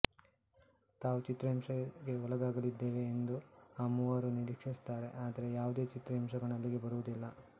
ತಾವು ಚಿತ್ರಹಿಂಸೆಗೆ ಒಳಗಾಗಲಿದ್ದೇವೆ ಎಂದು ಆ ಮೂವರೂ ನಿರೀಕ್ಷಿಸುತ್ತಾರೆ ಆದರೆ ಯಾವುದೇ ಚಿತ್ರಹಿಂಸಕನು ಅಲ್ಲಿಗೆ ಬರುವುದಿಲ್ಲ